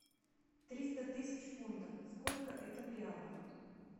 триста тысяч фунтов сколько это в реалах